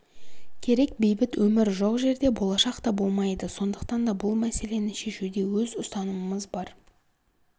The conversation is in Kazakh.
керек бейбіт өмір жоқ жерде болашақта болмайды сондықтан да бұл мәселені шешуде өз ұстанымымыз бар